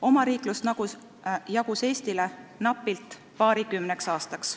Omariiklust jagus napilt paarikümneks aastaks.